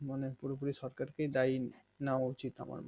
মানে পুরোপুরি সরকার কে দায়ী নেওয়া উচিত আমার মতে